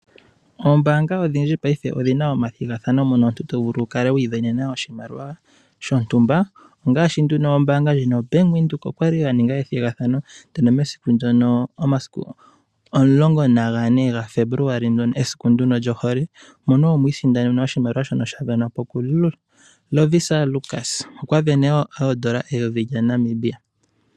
Oombaanga odhindji paife odhi na omathigathano mono omuntu to vulu oku isindanena oshimaliwa shontumba. Ombaanga yoBank Windhoek oya li ya ninga ethigathano momasiku 14 Febuluali, mesiku lyohole, mono mwa li tamu sindanwa oshimaliwa shono sha sindanwa po kuLovisa Lukas. Okwa sindana ooN$ 1000.